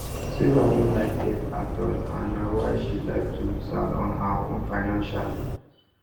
sarah no like debt at all and na why she like to dey stand on her own financially